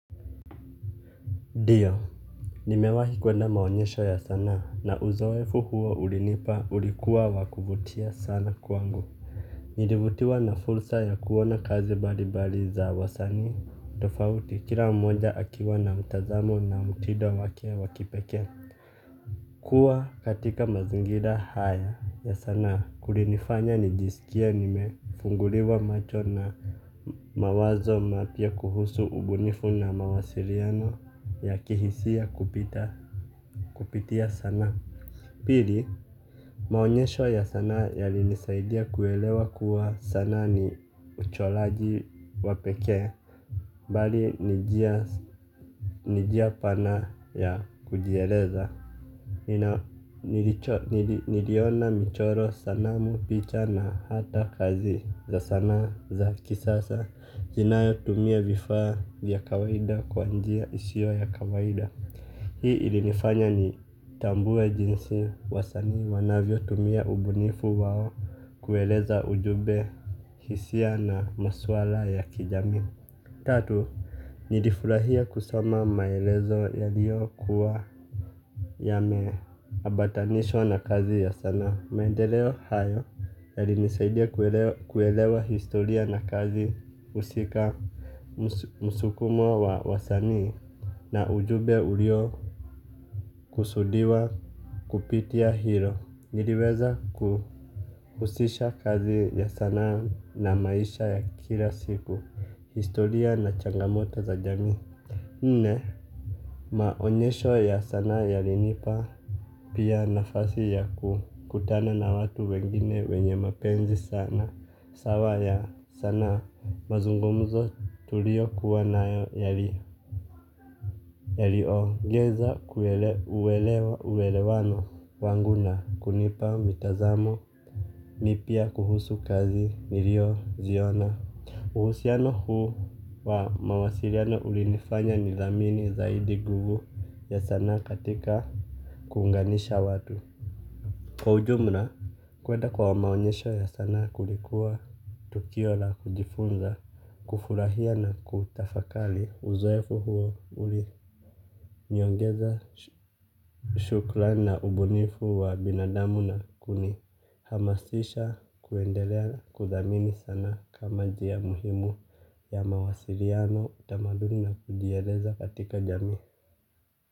Diyo. Nimewahi kuenda maonyesho ya sanaa na uzoefu huo ulinipa ulikuwa wakuvutia sana kwangu. Nilivutiwa na fursa ya kuona kazi balibali za wasani. Tofauti kila monja akiwa na mutazamo na mutido wake wakipeke. Kuwa katika mazingira haya ya sanaa kulinifanya nijisikia nimefunguliwa macho na mawazo mapya kuhusu ubunifu na mawasiriano ya kihisia kupita kupitia sana. Pili maonyesho ya sanaa yalinisaidia kuelewa kuwa sanaa ni ucholaji wa peke. Bali ni jia pana ya kujieleza. Niliona michoro sanamu picha na hata kazi za sanaa za kisasa zinao tumia vifaa ya kawaida kwa njia isio ya kawaida. Hii ilinifanya nitambuwe jinsi wasanii wanavyo tumia ubunifu wao. Kueleza ujube hisia na maswala ya kijamii tatu, nilifurahia kusoma maelezo yaliyo kuwa yameambatanishwa na kazi ya sana. Maendeleo hayo yalinisaidia kuelewa historia na kazi usika msukumo wa wasani na ujube ulio kusudiwa kupitia hilo. Niliweza kuhusisha kazi ya sanaa na maisha ya kila siku, historia na changamoto za jamii. Nne, maonyesho ya sanaa yalinipa pia nafasi ya kutana na watu wengine wenye mapenzi sana, sawa ya sanaa mazungumuzo tulio kuwa nayo yaliogeza kuelewa uwelewano wangu na kunipa mitazamo mipya kuhusu kazi nilio ziona. Uhusiano huu wa mawasiriano ulinifanya nithamini zaidi guvu ya sanaa katika kunganisha watu. Kwa ujumla, kwenda kwa maonyesho ya sana kulikuwa tukio la kujifunza, kufurahia na kutafakali uzoefu huo uli niongeza shuklani na ubunifu wa binadamu na kuni hamasisha kuendelea kudhamini sanaa kama jia muhimu ya mawasiriano utamaduni na kujieleza katika jamii.